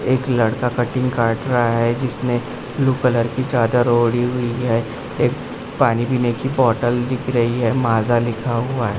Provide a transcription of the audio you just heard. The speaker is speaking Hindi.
एक लड़का कटिंग काट रहा है जिसने ब्लू कलर की चादर ओढ़ी हुई है एक पानी पीने की बॉटल दिख रही है माजा लिखा हुआ है।